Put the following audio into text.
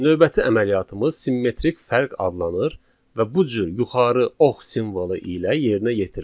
Növbəti əməliyyatımız simmetrik fərq adlanır və bu cür yuxarı ox simvolu ilə yerinə yetirilir.